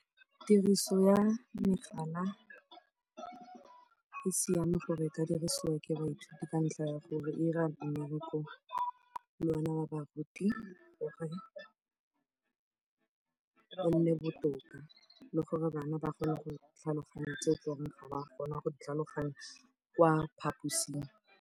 Tiriso ya megala e siame gore e ka dirisiwa ke baithuti ka ntlha ya gore e dira mmereko le ona wa baruti gore o nne botoka le gore bana ba kgone go tlhaloganya tseo eleng gore ga ba kgona go di tlhaloganya kwa phaposing.